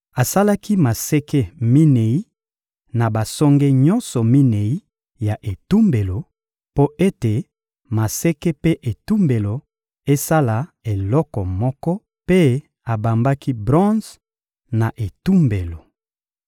Asalaki maseke minei na basonge nyonso minei ya etumbelo, mpo ete maseke mpe etumbelo esala eloko moko; mpe abambaki bronze na etumbelo.